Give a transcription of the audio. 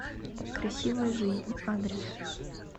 красивая жизнь адрес